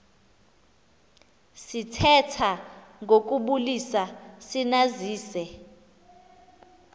sithetha ngokubulisa sinazise